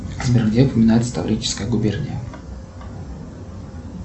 сбер где упоминается таврическая губерния